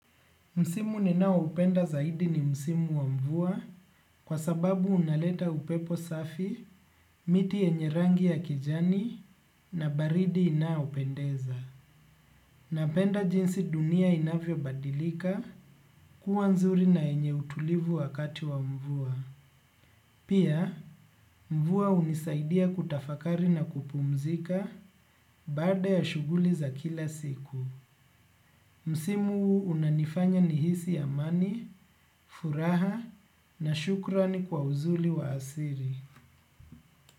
Msimu ninaoupenda zaidi ni msimu wa mvua kwa sababu unaleta upepo safi, miti yenye rangi ya kijani na baridi inaopendeza. Napenda jinsi dunia inavyobadilika kuwa nzuri na yenye utulivu wakati wa mvua. Pia, mvua hunisaidia kutafakari na kupumzika baada ya shughuli za kila siku. Msimu unanifanya nihisi amani, furaha na shukrani kwa uzuri wa asili.